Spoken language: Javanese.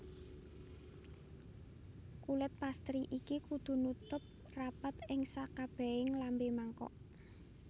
Kulit pastry iki kudu nutup rapet ing sakabehing lambe mangkok